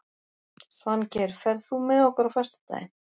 Svangeir, ferð þú með okkur á föstudaginn?